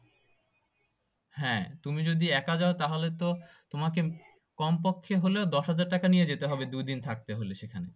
হ্যাঁ তুমি যদি এক যায় তাহলে তো তোমাকে কমপক্ষে হলে দশ হাজার টাকা নিয়ে যেতে হবে দুইদিন থাকার জন্য